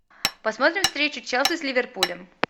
посмотрим встречу челси с ливерпулем